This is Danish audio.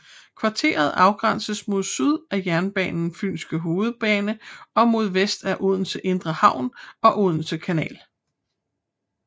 Kvarteret afgrænses mod syd af jernbanen Fynske hovedbane og mod vest af Odense Indre Havn og Odense Kanal